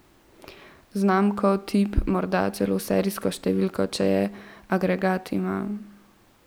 Znamko, tip, morda celo serijsko številko, če jo agregat ima.